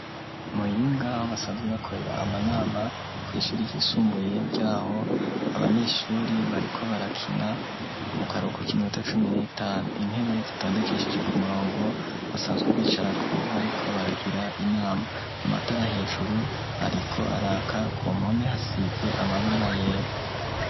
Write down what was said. I Muyinga aho basanzwe bakorera amanama kw'ishuri ryisumbuye ryaho, abanyeshuri bariko barakina mu karuhuko k'iminota cumi n'itanu, intebe zitondekesheje ku murongo basanzwe bicarako bariko baragira inama, amatara hejuru ariko araka, ku mpome hasize amabara yera.